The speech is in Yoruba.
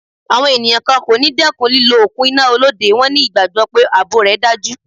Àwọn ènìyàn kan kò ní dẹ́kun lílọ òkun iná Olóde, wón ní ìgbàgbọ́ pé ààbò rẹ̀ dájú.